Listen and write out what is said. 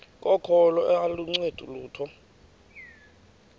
kokholo aluncedi lutho